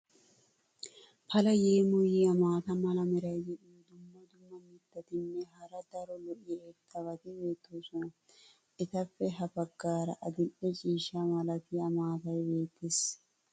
pala yeemmoyiya maata mala meray diyo dumma dumma mitatinne hara daro lo'iya irxxabati beetoosona. etappe ha bagaara adil'e ciishsha malatiya maatay beetees.